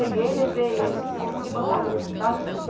Peguei, levei ele, consegui botar ele no hospital.